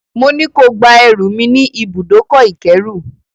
Mo ní ko gba ẹrù mi ní ibùdókọ̀-ìkérù.